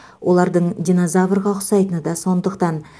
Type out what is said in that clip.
олардың динозаврға ұқсайтыны да сондықтан